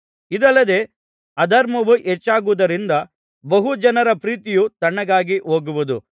ಇದಲ್ಲದೆ ಅಧರ್ಮವು ಹೆಚ್ಚಾಗುವುದರಿಂದ ಬಹು ಜನರ ಪ್ರೀತಿಯು ತಣ್ಣಗಾಗಿ ಹೋಗುವುದು